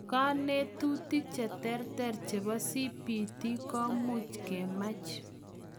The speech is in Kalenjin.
Konetutik cheterter chebo CBT komuch kemach.